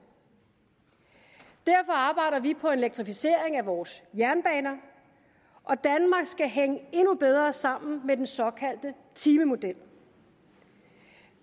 derfor arbejder vi på en elektrificering af vores jernbaner og danmark skal hænge endnu bedre sammen med den såkaldte timemodel